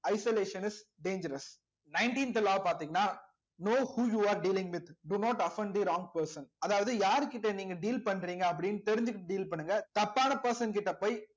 isolation is dangerous nineteenth law பாத்தீங்கன்னா no who you are dealing with do not often the wrong person அதாவது யார்கிட்ட நீங்க deal பண்றீங்க அப்படின்னு தெரிஞ்சுகிட்டு deal பண்ணுங்க தப்பான person கிட்ட போய்